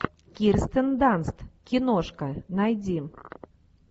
кирстен данст киношка найди